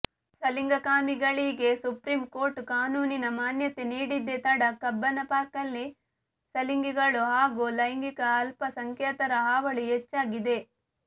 ಸಲಿಂಗಕಾಮಿಗಳಿಗೆ supreme court ಕಾನೂನಿನ ಮಾನ್ಯತೆ ನೀಡಿದ್ದೆ ತಡ ಕಬ್ಬನ ಪಾರ್ಕ್ನಲ್ಲಿ ಸಲಿಂಗಿಗಳು ಹಾಗೂ ಲೈಗಿಂಕ ಅಲ್ಪ ಸಂಖ್ಯಾತರ ಹಾವಳಿ ಹೆಚ್ಚಾಗಿದೆ